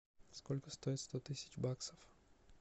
сколько стоит сто тысяч баксов